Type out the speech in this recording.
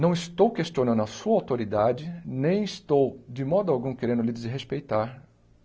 não estou questionando a sua autoridade, nem estou, de modo algum, querendo lhe desrespeitar.